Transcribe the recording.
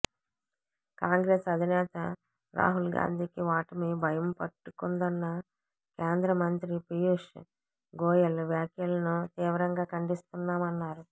కాంగ్రెస్ అధినేత రాహుల్గాంధీకి ఓటమి భయం పట్టుకుందన్న కేంద్రమంత్రి పీయూష్ గోయల్ వ్యాఖ్యలను తీవ్రంగా ఖండిస్తున్నామన్నారు